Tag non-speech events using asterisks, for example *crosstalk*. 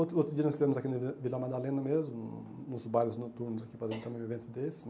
Outro outro dia nós estivemos aqui *unintelligible* na Vila Madalena mesmo, nos bares noturnos, aqui fazendo também um evento desse.